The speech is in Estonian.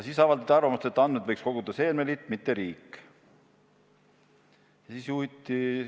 Veel avaldati arvamust, et andmeid võiks koguda seemneliit, mitte riik.